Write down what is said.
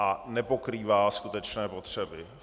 A nepokrývá skutečné potřeby.